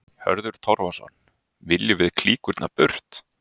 Hörður Torfason: Viljum við klíkurnar burt?